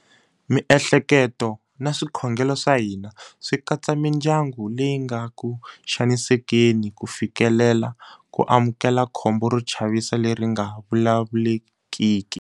Miehleketo na swikhongelo swa hina swi katsa mindyangu leyi nga ku xanisekeni ku fikelela ku amukela khombo ro chavisa leri nga vulavulekiki.